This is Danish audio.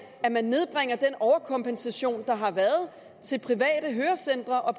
at man nedbringer den overkompensation der har været til private hørecentre og